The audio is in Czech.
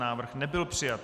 Návrh nebyl přijat.